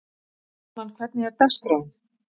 Austmann, hvernig er dagskráin?